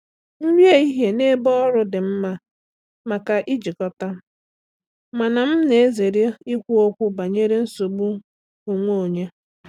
Nri ehihie n’ebe ọrụ dị mma maka ijikọta, mana m na-ezere ikwu okwu banyere nsogbu onwe onye.